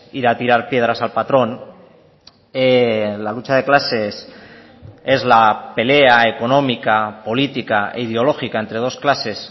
ir a tirar piedras al patrón la lucha de clases es la pelea económica política e ideológica entre dos clases